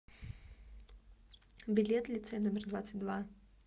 билет лицей номер двадцать два